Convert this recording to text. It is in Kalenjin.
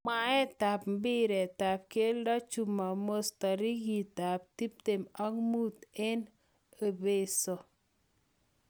Mwaetap mbiretap geldo Chumamos, tarikit ab tiptem ak muut eng ebeeso